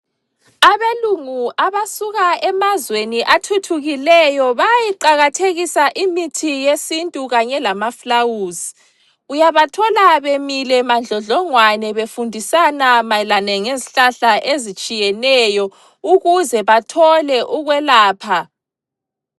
Abelungu abasuka emazweni athuthukileyo bayayiqakathekisa imithi yesintu kanye lama fulawuzi. Uyabathola bemile madlodlongwane befundisana mayelana ngezihlahla ezitshiyeneyo ukuze bathole ukwelapha.